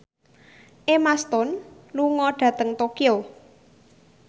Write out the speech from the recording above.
Emma Stone lunga dhateng Tokyo